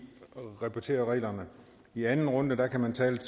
repetere reglerne i anden runde kan man tale